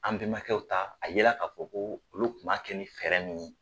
An bɛmakɛw ta a ye la ka fɔ ko olu kun b'a kɛ ni fɛɛrɛ min ye.